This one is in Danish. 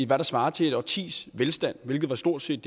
der svarer til et årtis velstand hvilket stort set